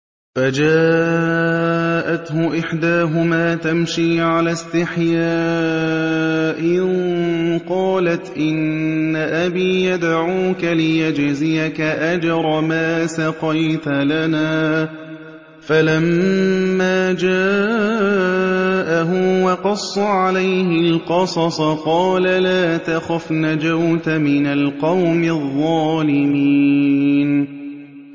فَجَاءَتْهُ إِحْدَاهُمَا تَمْشِي عَلَى اسْتِحْيَاءٍ قَالَتْ إِنَّ أَبِي يَدْعُوكَ لِيَجْزِيَكَ أَجْرَ مَا سَقَيْتَ لَنَا ۚ فَلَمَّا جَاءَهُ وَقَصَّ عَلَيْهِ الْقَصَصَ قَالَ لَا تَخَفْ ۖ نَجَوْتَ مِنَ الْقَوْمِ الظَّالِمِينَ